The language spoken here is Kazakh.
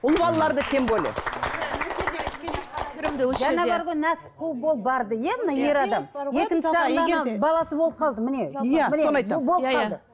ұл балаларды тем более жаңа бар ғой нәпсі қуып ол барды иә мына ер адам баласы болып қалды міне